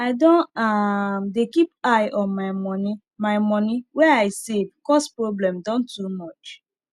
i don um dey keep eye on my money my money wey i save cause problem don too much